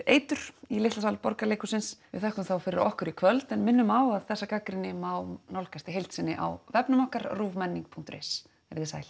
eitur í litla sal Borgarleikhússins við þökkum þá fyrir okkur í kvöld en minnum á að þessa gagnrýni má nálgast í heild sinni á vefnum okkar ruvmenning punktur is verið þið sæl